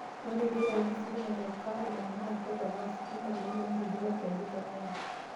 Ore pee eitayuni ositima te Karuma naa keponaa ositima toloontoluo lolkeju le Nile